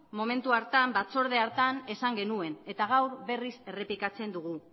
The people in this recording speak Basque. momentu hartan batzorde hartan esan genuen eta gaur berriz errepikatzen dugu